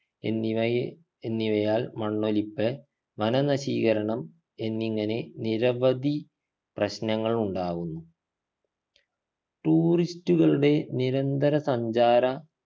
എന്നിവയെ എന്നിവയാൽ മണ്ണൊലിപ്പ് വനനശീകരണം എന്നിങ്ങനെ നിരവധി പ്രശ്നങ്ങളുണ്ടാകുന്നു tourist കളുടെ നിരന്തര സഞ്ചാര